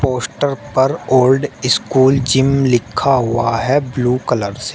Poster पर old school gym लिखा हुआ है ब्लू कलर से।